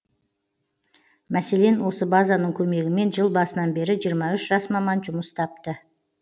мәселен осы базаның көмегімен жыл басынан бері жиырма үш жас маман жұмыс тапты